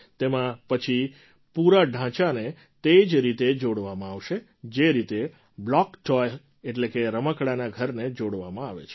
તેમાં પછી પૂરા ઢાંચાને તે જ રીતે જોડવામાં આવશે જે રીતે બ્લૉક ટૉય એટલે કે રમકડાંના ઘરને જોડવામાં આવે છે